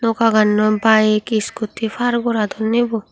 noka gannoi bike scooty par goradonni bo.